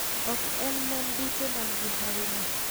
Ok en mon duto man gi hawi no.